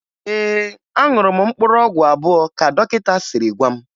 Ee, aṅụrụ m mkpụrụ ọgwụ abụọ ka dọkịta siri gwa m